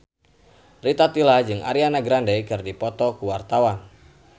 Rita Tila jeung Ariana Grande keur dipoto ku wartawan